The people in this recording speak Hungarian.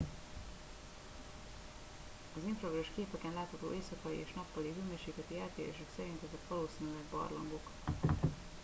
az infravörös képeken látható éjszakai és nappali hőmérsékleti eltérések szerint ezek valószínűleg barlangok